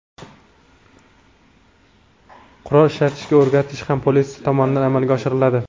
Qurol ishlatishga o‘rgatish ham politsiya tomonidan amalga oshiriladi.